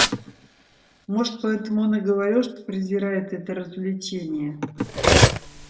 может поэтому он и говорил что презирает это развлечение